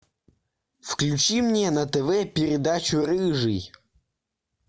включи мне на тв передачу рыжий